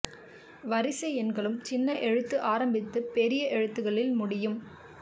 வரிசை எண்களும் சின்ன எழுத்தில் ஆரம்பித்து பெரிய எழுத்துக்களில் முடியும்